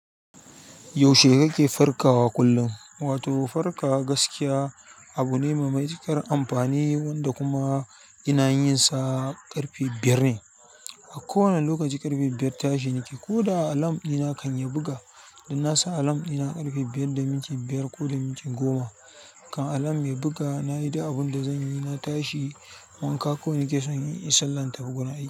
Yaushe kake farkawa kullum? Wato farkawa gaskiya abune mai matuƙar amfani dakuma. Ina yin sa ƙarfe biyar ne. A kowane lokaci ƙarfe biyar tashi nake. Ko da alam ina kan ya buga. Da nasa alam ina ƙarfe biyar da minti biyar ko da minti goma. Kan alam ya buga, na yi dik abun da zan yi, na tashi, wanka, ko in ke son in sallanta buguna aiki.